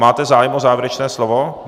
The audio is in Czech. Máte zájem o závěrečné slovo?